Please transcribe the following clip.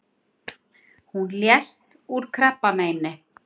Hún lést úr krabbameini.